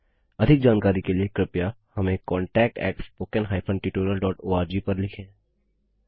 अधिक जानकारी के लिए कृपया हमें contactspoken हाइफेन tutorialओआरजी पर लिखें